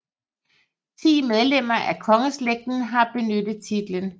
Ti medlemmer af kongeslægten har benyttet titlen